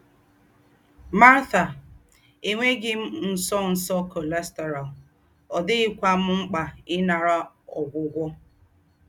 Marta: “Ènwéghī m ńsọ́nsọ́ cholesterol, ọ̀ díghīkwá m m̀kpà ìnàrà ógwúgwọ̀.